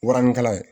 Warinikala